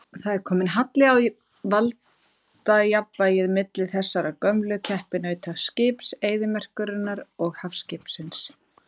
Það er kominn halli á valdajafnvægið milli þessara gömlu keppinauta, skips eyðimerkurinnar og hafskipsins.